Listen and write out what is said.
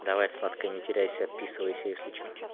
давай сладкая не теряйся отписывайся если чё